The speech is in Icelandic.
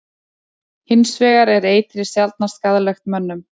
Hins vegar er eitrið sjaldnast skaðlegt mönnum.